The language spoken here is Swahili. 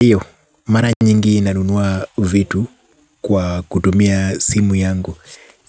Iyo, mara nyingi nanunua vitu kwa kutumia simu yangu.